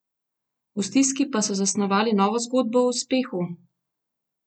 V stiski pa so zasnovali novo zgodbo o uspehu?